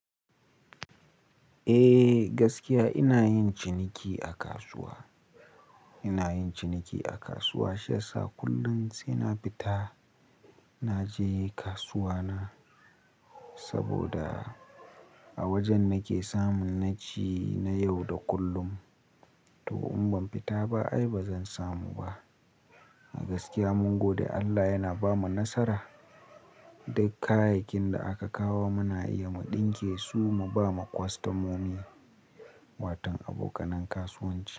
Eh gaskiya ina yin ciniki a kasuwa, ina yin ciniki a kasuwa. Shiyasa kullum sai na fita naje kasuwa na saboda a wajen nake samun na ci na yau da kullum. To in ban fita ba ai bazan samu ba. A gaskiya mun gode Allah yana bamu nasara. Duk kayakin da aka kawo muna iya mu ɗinke su mu bawa kwastamomi, watan abokanen kasuwanci.